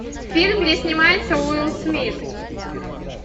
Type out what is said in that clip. фильм где снимается уилл смит